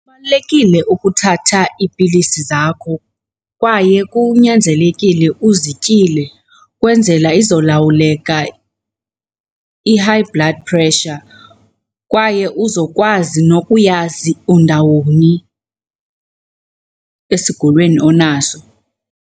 Kubalulekile ukuthatha iipilisi zakho kwaye kunyanzelekile uzityile kwenzela izolawuleka i-high blood pressure, kwaye uzokwazi nokuyazi undawoni esigulweni onaso.